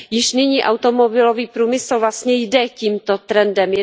Již nyní automobilový průmysl vlastně jde tímto trendem.